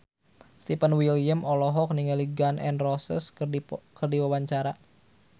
Stefan William olohok ningali Gun N Roses keur diwawancara